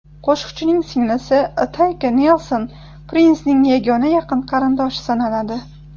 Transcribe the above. Qo‘shiqchining singlisi Tayka Nelson Prinsning yagona yaqin qarindoshi sanaladi.